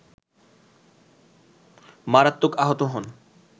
মারত্মক আহত হন